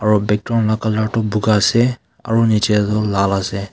aru bethu vala colour tu boga ase aru niche tu lal ase.